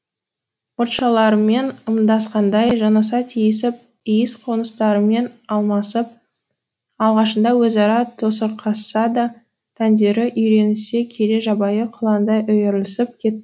мұртшаларымен ымдасқандай жанаса тиісіп иіс қоңыстарымен алмасып алғашында өзара тосырқасса да тәндері үйренісе келе жабайы құландай үйірлесіп кет